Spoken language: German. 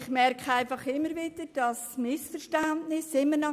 Ich stelle fest, dass immer noch Missverständnisse bestehen.